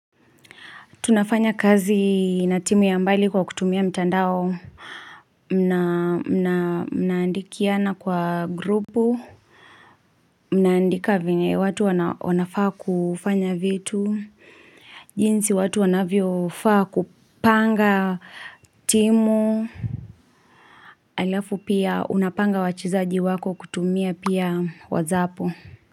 Tunafanya kazi na timu ya mbali kwa kutumia mtandao na Mnaandikiana kwa grupu Mnaandika venye watu wanafaa kufanya vitu jinsi watu wanavyo faa kupanga timu Alafu pia unapanga wachezaji wako kutumia pia wazapo.